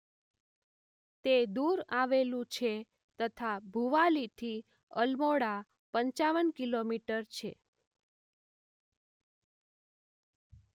તે દૂર આવેલું છે તથા ભુવાલી થી અલમોડા પંચાવન કિલોમીટર છે